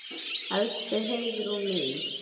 Elsku Heiðrún mín.